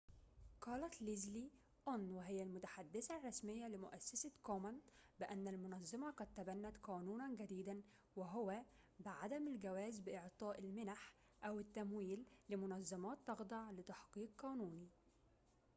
قالت ليزلي أون وهي المتحدثة الرسمية لمؤسسة كومن بأن المنظمة قد تبنت قانوناً جديداً وهو بعدم الجواز بإعطاء المنح أو التمويل لمنظمات تخضع لتحقيق قانوني